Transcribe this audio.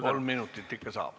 Kolm minutit ikka saab.